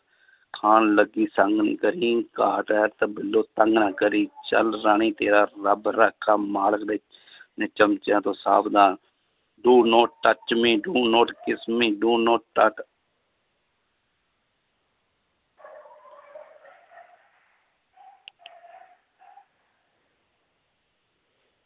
ਖਾਣ ਲੱਗੀ ਘਾਟ ਹੈ ਕਰੀ ਚੱਲ ਰਾਣੀ ਤੇਰਾ ਰੱਬ ਰਾਖਾ ਮਾਲਕ ਦੇ ਨੇ ਚਮਚਿਆਂ ਤੋਂ ਸਾਵਧਾਨ do not touch me, do not kiss me, do not